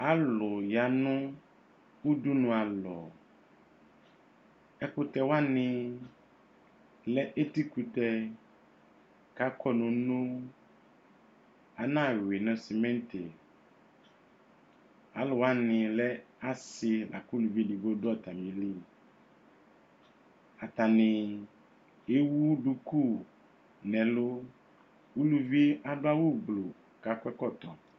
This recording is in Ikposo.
Alʋ yanʋ ʋdʋnʋ alɔ ɛkʋtɛ wani lɛ etikʋtɛ kʋ akɔ nʋ uno anawi nʋ simiti akʋ wani lɛ asɩ lakʋ ʋlʋvi edigbo dʋ atami li atani ewʋ duku nʋ ɛlʋ ʋlʋvi adʋ awʋ gbluukʋ akɔ ɛkɔtɔ